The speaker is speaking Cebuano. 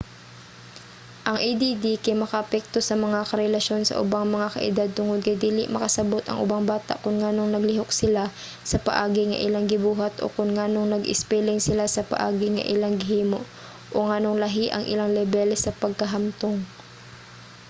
ang add kay makaapekto sa mga relasyon sa ubang mga kaedad tungod kay dili makasabot ang ubang bata kon nganong naglihok sila sa paagi nga ilang gibuhat o kon nganong nag-espeling sila sa paagi nga ilang gihimo o nganong lahi ang ilang lebel sa pagkahamtong